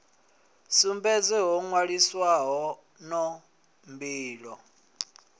sumbedze ho nwaliswaho no mbilo